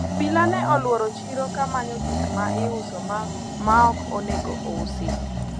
obila ne olworo chiro ka manyo gikma iuso maok onego usi